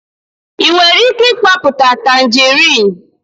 ị nwere ike mkpoputa tanjerịn?